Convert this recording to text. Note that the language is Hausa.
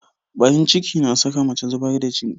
Barin ciki na saka mace zubar da jini.